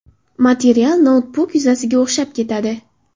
Material noutbuk yuzasiga o‘xshab ketadi.